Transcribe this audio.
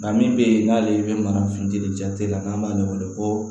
Nka min bɛ yen n'ale bɛ mara funtɛni jate la n'an b'ale wele ko